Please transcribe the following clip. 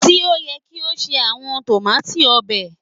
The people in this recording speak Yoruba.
ti o yẹ ki o ṣe awọn tomati obe.